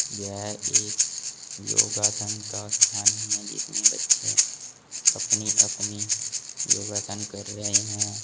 यह एक योगासन का स्थान है जिसमें बच्चे अपनी अपनी योगासन कर रहे हैं।